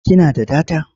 Ki na da data?